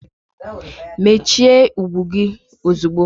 Mechie ụkwụ gị ozigbo!